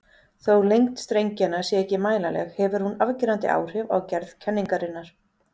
Þó lengd strengjanna sé ekki mælanleg hefur hún afgerandi áhrif á gerð kenningarinnar.